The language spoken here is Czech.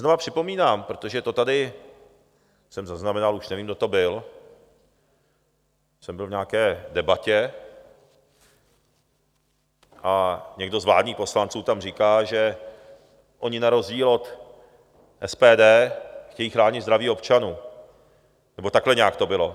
Znova připomínám, protože to tady, jsem zaznamenal, už nevím, kdo to byl, jsem byl v nějaké debatě a někdo z vládních poslanců tam říká, že oni na rozdíl od SPD chtějí chránit zdraví občanů, nebo takhle nějak to bylo.